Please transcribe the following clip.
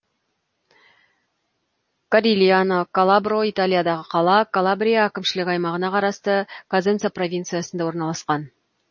корильяно калабро италиядағы қала калабрия әкімшілік аймағына қарасты козенца провинциясында орналасқан